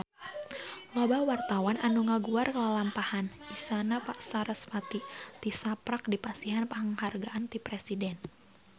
Loba wartawan anu ngaguar lalampahan Isyana Sarasvati tisaprak dipasihan panghargaan ti Presiden